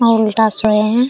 और उल्टा सोए है।